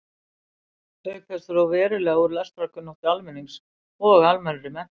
Auk þess dró verulega úr lestrarkunnáttu almennings og almennri menntun.